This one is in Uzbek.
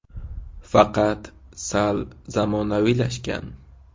Faqat sal zamonaviylashgan.